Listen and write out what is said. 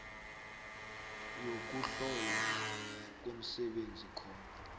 yokuhlolwa komsebenzi khona